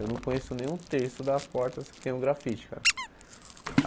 Eu não conheço nem um terço das portas que tem o grafite, cara.